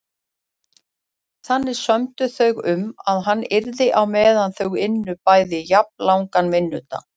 Þannig sömdu þau um að það yrði á meðan þau ynnu bæði jafnlangan vinnudag.